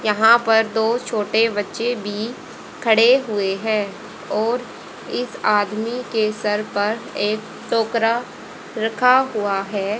यहां पर दो छोटे बच्चे भी खड़े हुए हैं और इस आदमी के सर पर एक टोकरा रखा हुआ है।